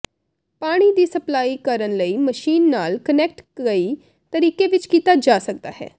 ਪਾਣੀ ਦੀ ਸਪਲਾਈ ਕਰਨ ਲਈ ਮਸ਼ੀਨ ਨਾਲ ਕਨੈਕਟ ਕਈ ਤਰੀਕੇ ਵਿੱਚ ਕੀਤਾ ਜਾ ਸਕਦਾ ਹੈ